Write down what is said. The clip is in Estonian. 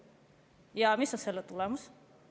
Ja mis on selle tulemus?